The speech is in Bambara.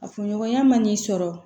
A furuɲɔgɔnya man n'i sɔrɔ